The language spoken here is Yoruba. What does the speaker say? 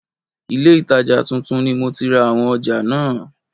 Ilé itaja tuntun ni mo ti ra àwọn ọjà náà.